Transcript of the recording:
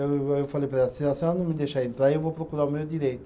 Eu falei para ela, se a senhora não me deixar entrar, eu vou procurar o meu direito.